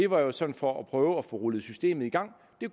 var sådan for at prøve at få rullet systemet i gang det